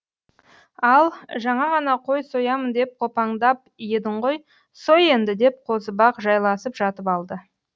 ал жаңа ғана қой соямын деп қопаңдап едің ғой сой енді деп қозыбақ жайласып жатып алды